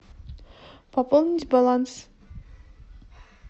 пополнить баланс